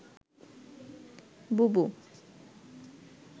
বুবু